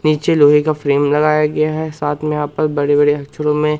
नीचे लोहे का फ्रेम लगाया गया है साथ में यहां पर बड़े बड़े अक्षरों में--